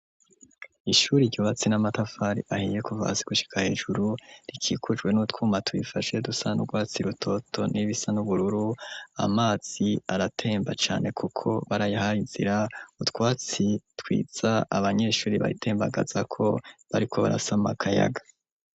Ishure ryubatse n'amatafari ahiye kuva hasi gushika hejuru, rikikujwe n'utwuma turifashe dusa n'urwatsi rutoto n'ibisa n'ubururu, amazi aratemba cane kuko barayahaye inzira, utwatsi twiza, abanyeshure bayitembagazako bariko barasama akayaga.